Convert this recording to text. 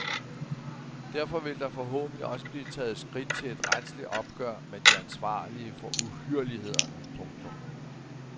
Derfor vil der forhåbentlig også blive taget skridt til et retsligt opgør med de ansvarlige for uhyrlighederne. punktum